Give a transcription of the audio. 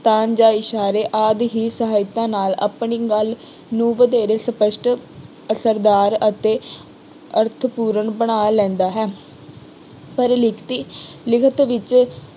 ਤਾਲ ਜਾਂ ਇਸ਼ਾਰੇ ਆਦਿ ਹੀ ਸਹਾਇਤਾ ਨਾਲ ਆਪਣੀ ਗੱਲ ਨੂੰ ਵਧੇਰੇ ਸਪੱਸ਼ਟ, ਅਸਰਦਾਰ ਅਤੇ ਅਰਥਪੂਰਨ ਬਣਾ ਲੈਂਦਾ ਹੈ ਪਰ ਲਿਖਤੀ ਲਿਖਤ ਵਿੱਚ